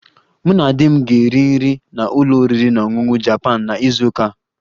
Mụ na di m ga-eri nri na ụlọ oriri na ọṅụṅụ Japan na izu ụka a